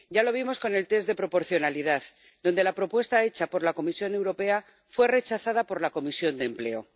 Ya lo vimos con el test de proporcionalidad, cuando la propuesta hecha por la Comisión Europea fue rechazada por la Comisión de Empleo.